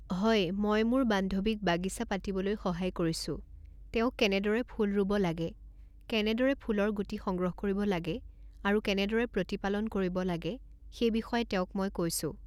হয় মই মোৰ বান্ধৱীক বাগিছা পাতিবলৈ সহায় কৰিছোঁ, তেওঁক কেনেদৰে ফুল ৰুব লাগে, কেনেদৰে ফুলৰ গুটি সংগ্ৰহ কৰিব লাগে আৰু কেনেদৰে প্ৰতিপালন কৰিব লাগে সেই বিষয়ে তেওঁক মই কৈছোঁ